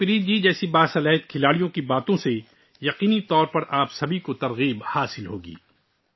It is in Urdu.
ہرمن پریت جی جیسی باصلاحیت کھلاڑی کے الفاظ یقیناً آپ سب کو تحریک دیں گے